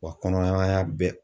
Wa bɛ.